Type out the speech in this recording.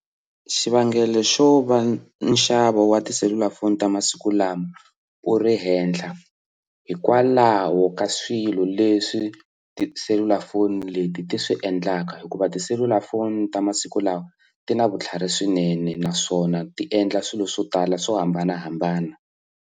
Xivangelo xo va nxavo wa tiselulafoni ta masiku lama u ri henhla hikwalaho ka swilo leswi tiselulafoni leti ti swi endlaka hikuva tiselulafoni ta masiku lawa ti na vutlhari swinene naswona ti endla swilo swo tala swo hambanahambana.